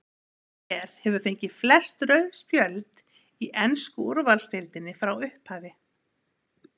Hver hefur fengið flest rauð spjöld í ensku úrvalsdeildinni frá upphafi?